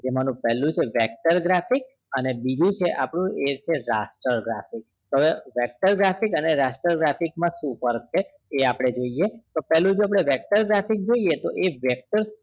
કે મતલબ પેલું છે vector graphic અને બીજું છે આપડું એ છે raster graphic તો હવે vector graphic અને raster graphic માં શું ફર્ક છે એ આપડે જોઈએ તો પેલું જો આપડે vector graphic જોઈએ તો એ vector